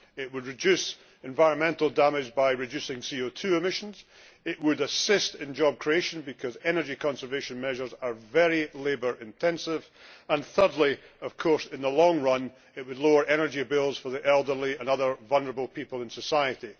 It would reduce environmental damage by reducing CO 2 emissions, it would assist in job creation, because energy conservation measures are very labour intensive, and thirdly, in the long run, it would of course lower energy bills for the elderly and other vulnerable people in society.